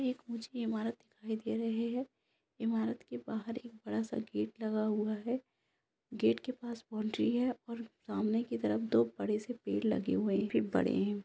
ये एक मुझे एक इमारत दिखाई दे रहे है इमारत के बाहर बड़ा-सा गेट लगा हुआ है गेट के पास बाउंड्री है और सामने की तरफ दो बड़े-से पेड़ लगे हुए है। ]